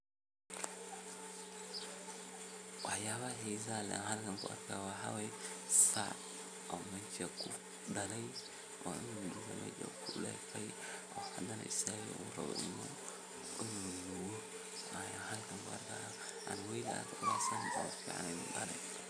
Waxyaabaha xiisaha leh aan halkan kuarka waxaa weye sac oo meshan kudaley oo cunuga mesha kudafey hadana istaage oo rabo in u nugo ayaan alkan kuarka.